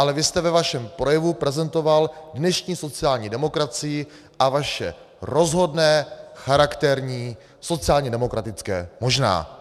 Ale vy jste ve vašem projevu prezentoval dnešní sociální demokracii a vaše rozhodné charakterní sociálně demokratické možná.